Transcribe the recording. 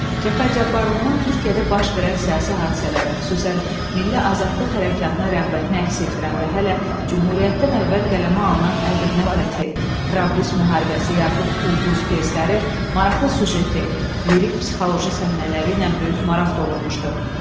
Cəfər Cabbarlının Türkiyədə baş verən siyasi hadisələrə, xüsusən milli azadlıq hərəkatına rəğbətini əks etdirən və hələ Cümhuriyyətdən əvvəl qələmə alınan Ədirnə fəthi, Trablis müharibəsi yaxud Ulduz pyesləri, maraqlı süjeti, lirik-psixoloji səhnələri ilə böyük maraq doğurmuşdu.